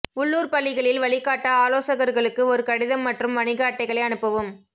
உள்ளூர் பள்ளிகளில் வழிகாட்ட ஆலோசகர்களுக்கு ஒரு கடிதம் மற்றும் வணிக அட்டைகளை அனுப்பவும்